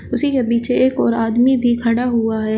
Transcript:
उसी के पीछे एक और आदमी भी खड़ा हुआ है।